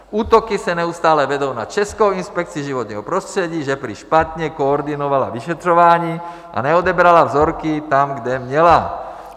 Útoky se neustále vedou na Českou inspekci životního prostředí, že prý špatně koordinovala vyšetřování a neodebrala vzorky tam, kde měla.